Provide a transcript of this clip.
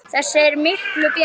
Þessi er miklu betri.